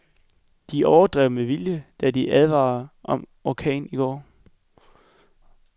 De overdrev med vilje, da de advarede om orkan i går.